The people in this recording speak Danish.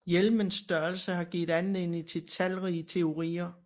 Hjernens størrelse har givet anledning til talrige teorier